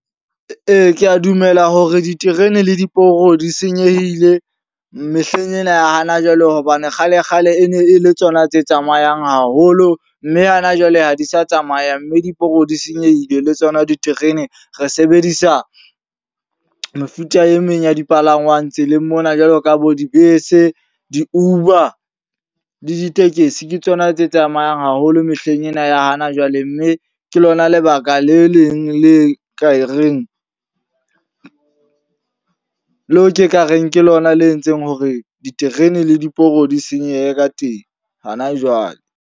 Ee, ke a dumela hore diterene le diporo di senyehile mehleng ena ya hana jwale. Hobane kgale-kgale e ne e le tsona tse tsamayang haholo. Mme hana jwale ha di sa tsamaya. Mme diporo di senyehile le tsona diterene. Re sebedisa mefuta e meng ya dipalangwang tseleng mona. Jwalo ka bo dibese, di-Uber le ditekesi. Ke tsona tse tsamayang haholo mehleng ena ya hana jwale mme ke lona lebaka baka le leng le ka e reng leo ke ka reng ke lona le entseng hore diterene le diporo di senyehe ka teng hana jwale.